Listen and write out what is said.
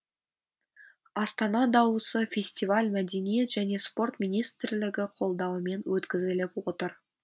астана дауысы фестиваль мәдениет және спорт министрлігі қолдауымен өткізіліп отыр